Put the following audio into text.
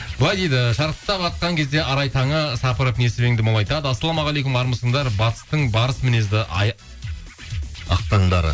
былай дейді шарықтап атқан кезде арай таңы сапырып несібеңді молайтады ассалаумағалейкум армысыңдар батыстың барыс мінезді ақ таңдары